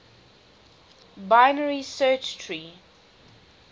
binary search tree